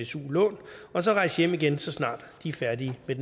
su lån og så rejse hjem igen så snart de er færdige med